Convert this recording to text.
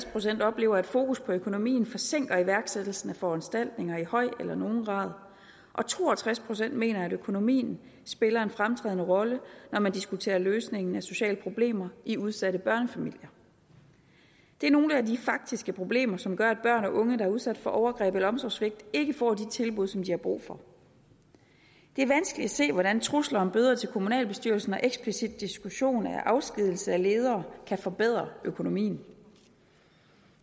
procent oplever at fokus på økonomien forsinker iværksættelsen af foranstaltninger i høj eller nogen grad og to og tres procent mener at økonomien spiller en fremtrædende rolle når man diskuterer løsningen af sociale problemer i udsatte børnefamilier det er nogle af de faktiske problemer som gør at børn og unge der er udsat for overgreb eller omsorgssvigt ikke får de tilbud som de har brug for det er vanskeligt at se hvordan trusler om bøder til kommunalbestyrelsen og eksplicit diskussion af afskedigelse af ledere kan forbedre økonomien